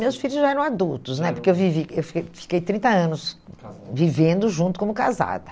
Meus filhos já eram adultos né, porque eu vivi eu fiquei fiquei trinta anos, de casada, vivendo junto como casada.